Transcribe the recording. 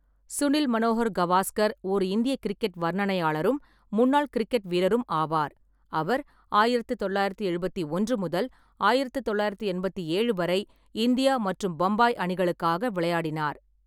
சுனில் மனோகர் கவாஸ்கர் ஓர் இந்திய கிரிக்கெட் வர்ணனையாளரும் முன்னாள் கிரிக்கெட் வீரரும் ஆவார், அவர் ஆயிரத்து தொள்ளாயிரத்து எழுபத்தி ஒன்று முதல் ஆயிரத்து தொள்ளாயிரத்து எண்பத்தி ஏழு வரை இந்தியா மற்றும் பம்பாய் அணிகளுக்காக விளையாடினார்.